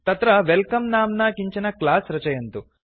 तत्र वेल्कम नाम्ना किञ्चन क्लास् रचयन्तु